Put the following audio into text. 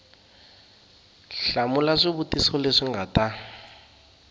hlamula swivutiso leswi nga ta